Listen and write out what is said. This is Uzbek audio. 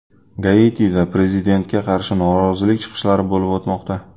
Gaitida prezidentga qarshi norozilik chiqishlari bo‘lib o‘tmoqda .